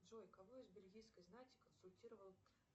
джой кого из бельгийской знати консультировал